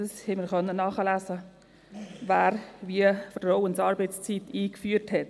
Wir konnten nachlesen, wer die Vertrauensarbeitszeit wie eingeführt hat.